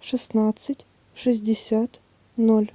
шестнадцать шестьдесят ноль